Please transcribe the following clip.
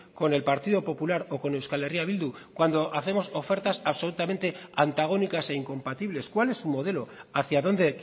con el partido popular o con euskal herria bildu cuando hacemos ofertas absolutamente antagónicas e incompatibles cuál es su modelo hacia dónde